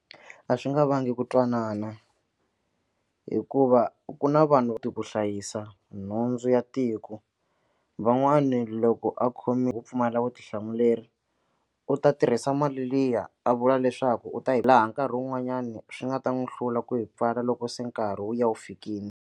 A swi nga vangi ku twanana hikuva ku na vanhu koti ku hlayisa nhundzu ya tiko van'wani loko a khomi wo pfumala vutihlamuleri u ta tirhisa mali liya a vula leswaku u ta hi laha nkarhi wun'wanyani swi nga ta n'wi hlula ku hi pfala loko se nkarhi wu ya wu fikile.